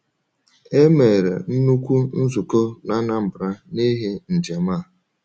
E mere nnukwu nzukọ na Anambra n’ihi njem a.